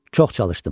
Çox çalışdım.